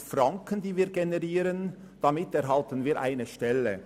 Wir generieren 100 000 Franken und erhalten damit eine Stelle.